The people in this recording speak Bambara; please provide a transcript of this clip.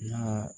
N'a